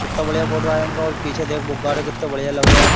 कितना बढ़िया फोटो आया इनका और पीछे देख बुकगार कितने बढ़िया लग रहे हैं।